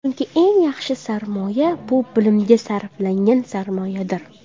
Chunki eng yaxshi sarmoya bu bilimga sarflangan sarmoyadir!